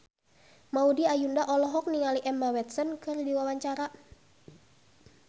Maudy Ayunda olohok ningali Emma Watson keur diwawancara